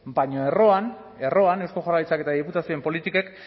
baina erroan erroan eusko jaurlaritzak eta diputazioen politikek